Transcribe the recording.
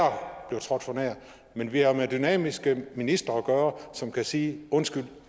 blev trådt for nær men vi har med dynamiske ministre at gøre som kan sige undskyld